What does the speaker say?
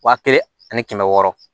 Wa kelen ani kɛmɛ wɔɔrɔ